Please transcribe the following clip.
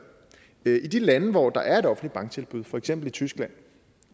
i de lande hvor der er et offentligt banktilbud for eksempel i tyskland